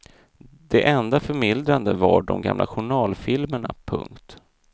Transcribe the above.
Det enda förmildrande var de gamla journalfilmerna. punkt